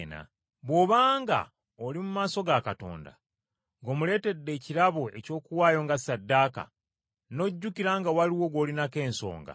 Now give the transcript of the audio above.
“Bw’obanga oli mu maaso ga Katonda, ng’omuleetedde ekirabo eky’okuwaayo nga ssaddaaka, n’ojjukira nga waliwo gw’olinako ensonga,